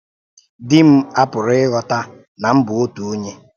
Dì m apụ̀rụ̀ ìghọ́tà na m bụ otu onye